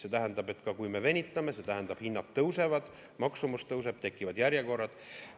See tähendab, et kui me venitame, siis hinnad tõusevad, maksumus tõuseb, tekivad järjekorrad.